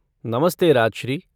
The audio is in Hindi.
नमस्ते राजश्री।